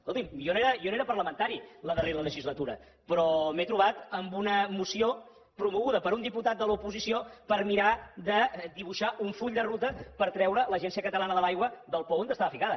escolti’m jo no era parlamentari la darrera legislatura però m’he trobat amb una moció promoguda per un diputat de l’oposició per mirar de dibuixar un full de ruta per treure l’agència catalana de l’aigua del pou on estava ficada